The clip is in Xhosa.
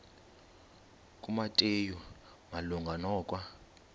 kumateyu malunga nokwa